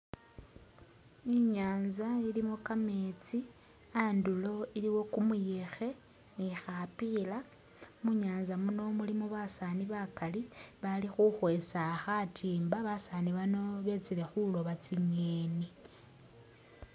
Inyanza ilimo gameezi andulo iliwo gumuyekhe ni khapila munyanza muno mulimo basani bagali bali khukhwesa khatimba basani bano betsile khulooba tsingeni.